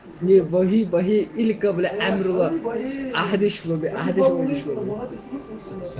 не в боге или корабля мёрло адрес услуги